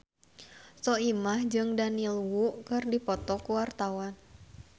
Soimah jeung Daniel Wu keur dipoto ku wartawan